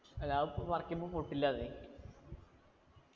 അല്ല അത് പറിക്കുമ്പൊ പൊട്ടില്ലാന്നേ